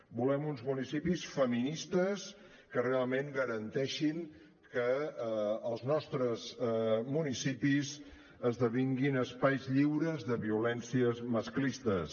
volem uns municipis feministes que realment garanteixin que els nostres municipis esdevinguin espais lliures de violències masclistes